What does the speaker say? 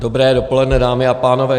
Dobré dopoledne, dámy a pánové.